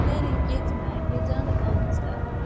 Deyərik: "Getmə, gecəni də qal bizdə".